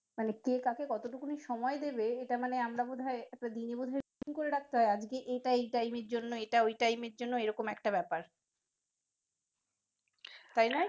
মানে কে কতটুকুন সময় দিবে এইটা মানি আমরা বোধ হয় একটা দিনে বোধহয় করে রাখতে হয় আজকে এইটা এই time এর জন্য ওইটা ওই time এর জন্য এইরকম একটা ব্যাপার তাই নয় কি?